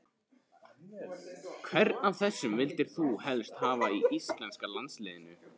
Hvern af þessum vildir þú helst hafa í íslenska landsliðinu?